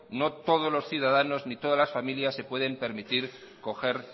no todos los ciudadanos ni todas las familiar se pueden permitir coger